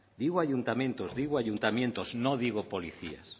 digo ayuntamientos digo ayuntamientos no digo policías se